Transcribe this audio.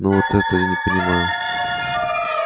но вот это и не понимаю